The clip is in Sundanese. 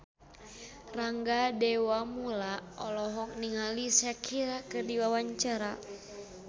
Rangga Dewamoela olohok ningali Shakira keur diwawancara